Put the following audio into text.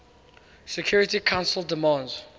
security council demands